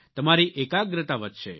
તમારી એકાગ્રતા વધશે